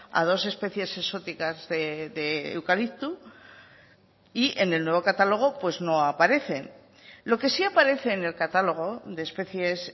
a dos especies exóticas de eucalipto y en el nuevo catálogo pues no aparecen lo que sí aparece en el catálogo de especies